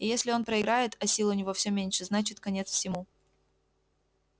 и если он проиграет а сил у него все меньше значит конец всему